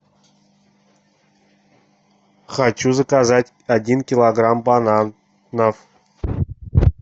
хочу заказать один килограмм бананов